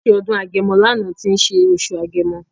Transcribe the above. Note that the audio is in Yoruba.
A ṣe ọdún agẹmọ lánàá tí ń ṣe oṣù agẹmọ.